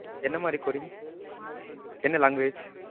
என்னமாறி coding? என்ன language?